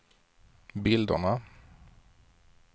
bilderna